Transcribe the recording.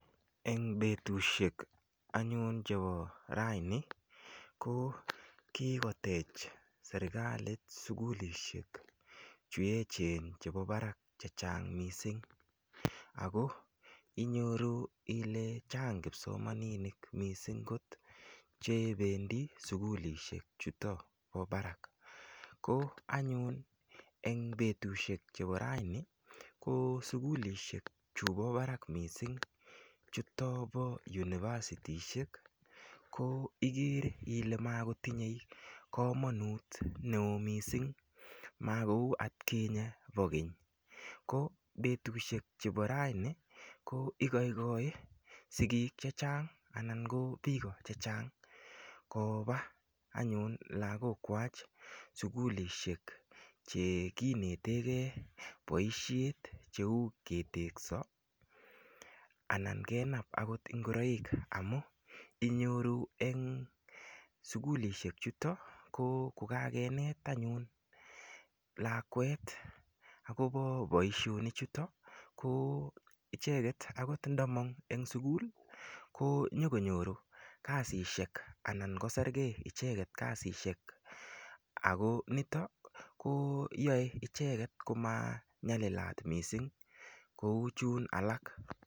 Eng' petusiek anyun chepo raini ko kigotech serikalit sugulishek che echen chepo parak chechang' mising' ako inyoru ile chang' kipsomaninik mising' kot chependi sugulishek chutok po parak ko anyun eng' petusiek chepo raini ko sugulishek chupo parak mising' chutok po univasitisiek ko igere ile makotinye komanut neo mising' makou atkinye po keny ko petusiek chepo raini ko igoigoi sigik chechang' anyun anan ko piko chechang' kopa anyun lagok kwach sugulishek chekinetegei boisiet cheu ketekso anan kenap ngoraik amun inyoru en sugulishek chutok ko kokakenet anyun lakwet agobo boisionik chutok ko icheket akot ndamang' eng' sugul ko nyikonyoru kasishek anankosergei akot icheket kasishek ako nitok koyoe icheket komanyalilat mising' kou chun alak.